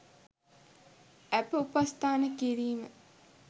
ඇප උපස්ථාන කිරීම